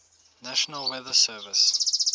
national weather service